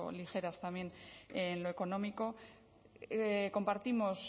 ligeras también en lo económico compartimos